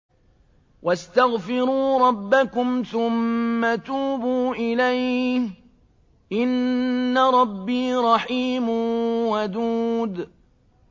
وَاسْتَغْفِرُوا رَبَّكُمْ ثُمَّ تُوبُوا إِلَيْهِ ۚ إِنَّ رَبِّي رَحِيمٌ وَدُودٌ